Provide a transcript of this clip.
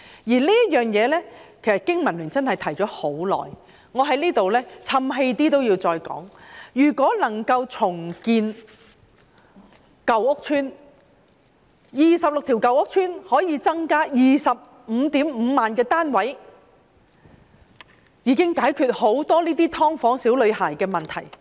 就這方面，其實香港經濟民生聯盟已提出了很久，即使說我太"譖氣"也要再說，如果能夠重建26條舊屋邨，便可以增加 255,000 個單位，這樣便可解決"劏房"小女孩的問題。